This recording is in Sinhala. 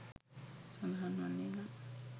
සඳහන් වන්නේ නම්